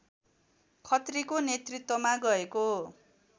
खत्रीको नेतृत्वमा गएको